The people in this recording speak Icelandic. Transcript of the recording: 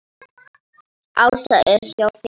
Ása er hjá þeim.